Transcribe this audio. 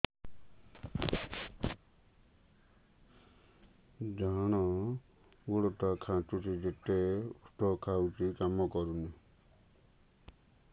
ଡାହାଣ ଗୁଡ଼ ଟା ଖାନ୍ଚୁଚି ଯେତେ ଉଷ୍ଧ ଖାଉଛି କାମ କରୁନି